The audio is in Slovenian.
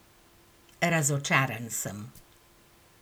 Razočaran sem.